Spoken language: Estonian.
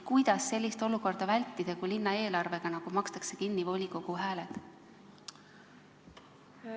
Kuidas sellist olukorda vältida, kui linnaeelarvega nagu makstakse kinni volikogu hääled?